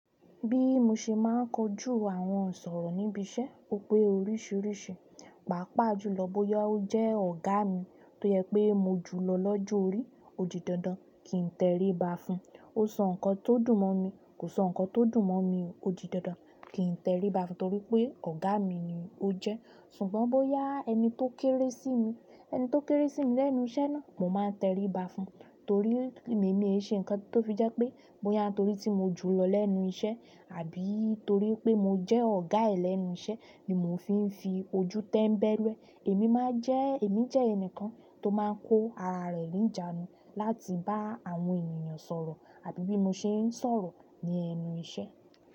Bí mo ṣe máa ń kojú àwọn sọ̀rọ̀ níbi iṣẹ́, ó pé oríṣìíríṣìí. Paapaa jùlọ boya o je ọ̀gá mi, to je pe mo ju lo lọ́jọ́ orí, o di dandan ki n teriba fún ó sọ nǹkan tó dùn mọ́ mi, kò sọ nǹkan tó dùn mọ́ mi, ó di dandan kí n tẹríba fún un torí pé ọ̀gá mi ni ó jẹ́. Ṣùgbọ́n bóyá ẹni tó kéré sí mi, ẹni tó kéré sí mi lẹ́nu iṣẹ́ náà, mo máa ń tẹríba fún un torí èmi ni ò n ṣe nǹkan tó fi jẹ́ pé bó yá a torí tí mo jù lọ lẹ́nu iṣẹ́, àbí torí pé mo jẹ́ ọ̀gá ẹ̀ lẹ́nu iṣẹ́ ni mo fi ń fi ojú tẹ́ńbẹ́lú ẹ. Èmi máa ń jẹ́, èmi jẹ́ ẹnìkan tó máa ń kó ara rẹ̀ ní ìjánu, láti bá àwọn ènìyàn sọ̀rọ̀, àbí bí mo ṣe ń sọ̀rọ̀ ní ẹnu iṣẹ́.